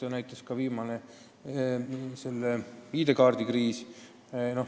Seda näitas ka viimane ID-kaardi kriis.